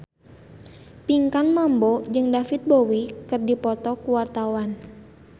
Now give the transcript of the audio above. Pinkan Mambo jeung David Bowie keur dipoto ku wartawan